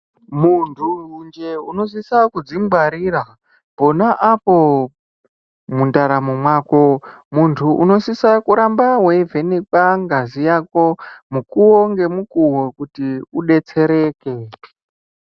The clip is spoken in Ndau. Muntu njee unosisa kudzingwarira pona apo mwundaramo mwako muntu unosisa kuramba weivhenekwa ngazi yako mukuwo ngemukowo kuti udetsereke.